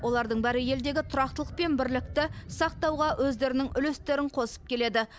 олардың бәрі елдегі тұрақтылық пен бірлікті сақтауға өздерінің үлестерін қосып келеді